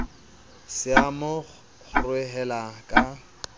se a mo kgorohela ka